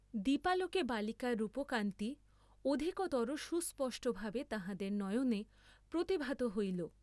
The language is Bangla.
দীপালোকে বালিকার রূপকান্তি অধিকতর সুস্পষ্টভাবে তাঁহাদের নয়নে প্রতিভাত হইল!